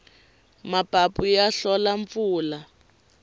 mapapu ya hlola mpfula